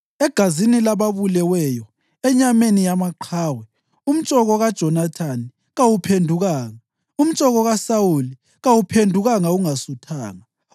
Egazini lababuleweyo, enyameni yamaqhawe umtshoko kaJonathani kawuphendukanga, umtshoko kaSawuli kawuphendukanga ungasuthanga.